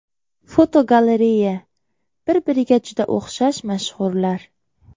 Fotogalereya: Bir-biriga juda o‘xshash mashhurlar.